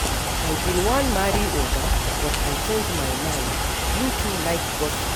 I bin wan marry Oga but I change my mind, you too like gossip